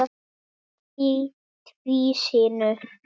Teflt í tvísýnu